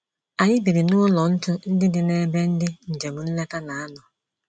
Anyị biri n’ụlọ ntú ndị dị n’ebe ndị njem nleta na - anọ.